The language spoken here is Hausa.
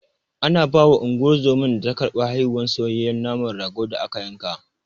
Ana bawa Unguwar zoman da ta karɓi haihuwar, soyayye naman ragon da aka yanka.